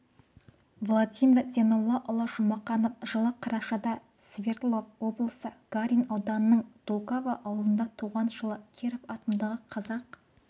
владимир зейноллаұлы жұмақанов жылы қарашада свердлов облысы гарин ауданының дулково ауылында туған жылы киров атындағы қазақ